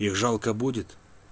их жалко будет